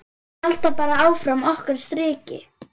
Halda bara áfram okkar striki.